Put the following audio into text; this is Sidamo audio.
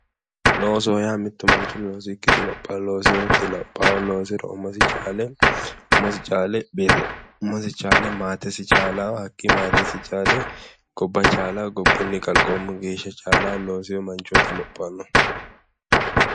Loosoho yaa mittu manchi loosikki dilopha. Looseeti lophaahu. Loosiro umosi chaale maatesi chaalayo hakkii maatesi chaale gobba chaalayo gobbunnu kalqoomu geeshsha chaalayo looseyo manchooti lophannohu.